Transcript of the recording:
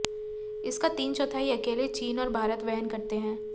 इसका तीन चौथाई अकेल चीन और भारत वहन करते हैं